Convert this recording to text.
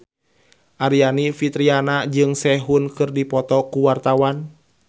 Aryani Fitriana jeung Sehun keur dipoto ku wartawan